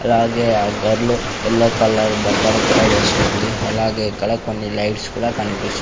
అలాగే ఆ girl yellow colour బట్టలు కూడా వేసుకుంది అలాగే ఇక్కడ కొన్ని లైట్స్ కూడా కనిపిస్--